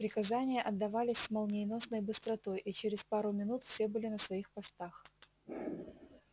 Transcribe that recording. приказания отдавались с молниеносной быстротой и через пару минут все были на своих постах